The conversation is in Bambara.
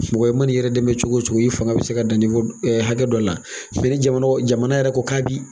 Mɔgɔ i man'i yɛrɛ dɛmɛ cogo o cogo i fanga bɛ se ka dan hakɛ dɔ la ni jamana jamana yɛrɛ ko k'a bi